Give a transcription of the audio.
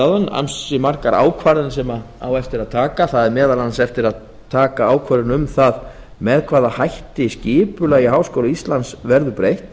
áðan á eftir að taka ansi margar ákvarðanir meðal annars á eftir að taka ákvörðun um það með hvaða hætti skipulagi háskóla íslands verður breytt